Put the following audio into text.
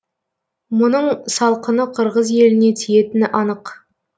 мұның салқыны қырғыз еліне тиетіні анық